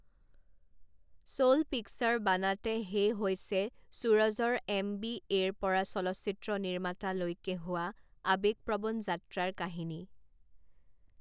চল পিকচাৰ বানাতে হে' হৈছে সূৰজৰ এম বি এৰ পৰা চলচ্চিত্ৰ নিৰ্মাতা লৈকে হোৱা আবেগপ্ৰৱণ যাত্ৰাৰ কাহিনী।